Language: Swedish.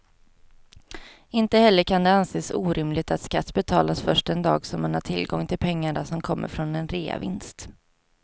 Inte heller kan det anses orimligt att skatt betalas först den dag som man har tillgång till pengarna som kommer från en reavinst.